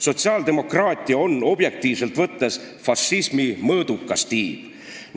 Sotsiaaldemokraatia on objektiivselt võttes fašismi mõõdukas tiib.